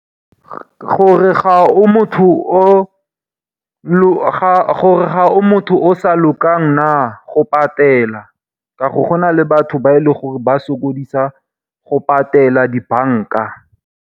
Gore ga o motho o sa lokang na, go patela. Ka gore gona le batho ba e leng gore ba sokodisa go patela di banka.